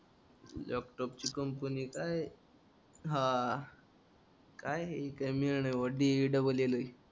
लॅपटॉपची company काय हा काय ए मेळ नाय डी इ डबल ल ए